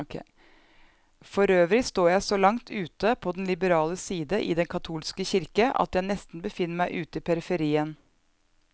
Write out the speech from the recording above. Forøvrig står jeg så langt ute på den liberale side i den katolske kirke, at jeg nesten befinner meg ute i periferien.